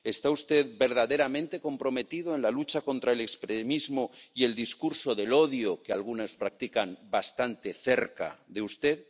¿Está usted verdaderamente comprometido en la lucha contra el extremismo y el discurso del odio que algunos practican bastante cerca de usted?